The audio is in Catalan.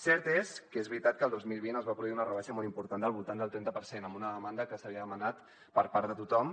cert és que és veritat que el dos mil vint es va produir una rebaixa molt important del voltant del trenta per cent una demanda que s’havia demanat per part de tothom